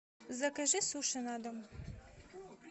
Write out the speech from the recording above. закажи суши на дом